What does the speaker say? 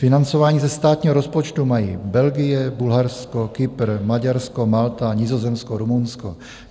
Financování ze státního rozpočtu mají Belgie, Bulharsko, Kypr, Maďarsko, Malta, Nizozemsko, Rumunsko.